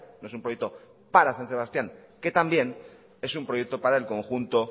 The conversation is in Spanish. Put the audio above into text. no es un proyecto para san sebastián que también es un proyecto para el conjunto